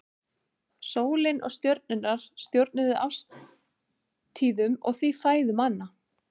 Sólin og stjörnurnar stjórnuðu árstíðunum og því fæðu manna.